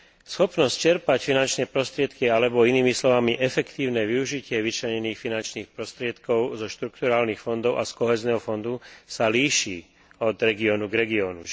Schopnosť čerpať finančné prostriedky, alebo inými slovami efektívne využitie vyčlenených finančných prostriedkov zo štrukturálnych fondov a z Kohézneho fondu sa líši od regiónu k regiónu.